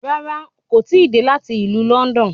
Rárá, kò tíì dé láti ìlú Lọ́ndọ̀n